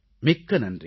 மிக்க நன்றி